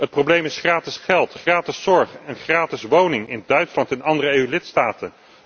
Het probleem is gratis geld, gratis zorg en een gratis woning in Duitsland en andere EU lidstaten.